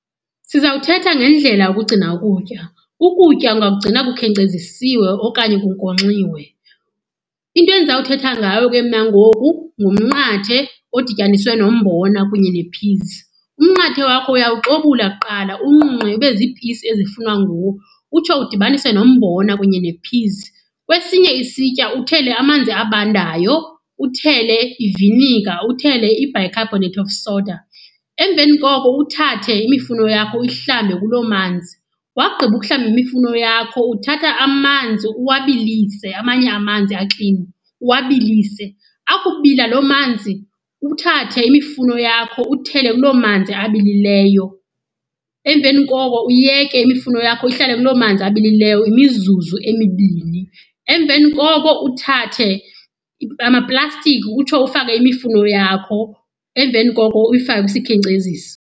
Sizawuthetha ngendlela yokugcina ukutya. Ukutya ungakugcina kukhenkcezisiwe okanye kunkonxiwe. Into endiza kuthetha ngayo ke mna ngoku ngumnqathe odityaniswe nombona kunye ne-peas. Umnqathe wakho uyawuxobula kuqala uwunqunqe ube zipisi ezifunwa nguwo utsho udibanise nombona kunye ne-peas. Kwesinye isitya uthele amanzi abandayo, uthele iviniga, uthele i-bicarbonate of soda. Emveni koko uthathe imifuno yakho uyihlambe kuloo manzi. Wakugqiba ukuhlamba imifuno yakho uthatha amanzi uwabilise, amanye amanzi aklini uwabilise. Akubila loo manzi uthathe imifuno yakho uthele kuloo manzi abilileyo. Emveni koko uyeke imifuno yakho ihlale kuloo manzi abilileyo imizuzu emibini. Emveni koko uthathe amaplastiki utsho ufake imifuno yakho. Emveni koko uyifake kwisikhenkcezisi.